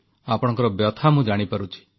ଆପଣଙ୍କର ବ୍ୟଥା ମୁଁ ଜାଣିପାରୁଛି